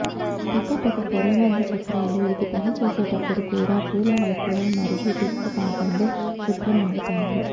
పక్కపక్క పొదబంది చక్రాలు ఇది పనిచేసేటప్పుడు కూడా పూల వైపులా మరియు దిగువ భాగంలో శుభ్రం అవుతాయి